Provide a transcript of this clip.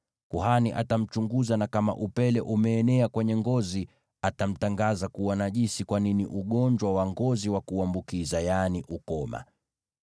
Kuhani atamchunguza, na kama upele umeenea kwenye ngozi, atamtangaza kuwa najisi, kwani ni ugonjwa wa ngozi wa kuambukiza, yaani ukoma.